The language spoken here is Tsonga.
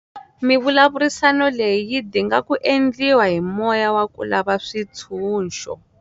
Mivulavurisano leyi yi dinga ku endliwa hi moya wa ku lava switshunxo.